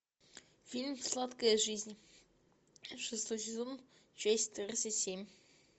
фильм сладкая жизнь шестой сезон часть тридцать семь